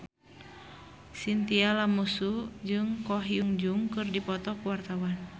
Chintya Lamusu jeung Ko Hyun Jung keur dipoto ku wartawan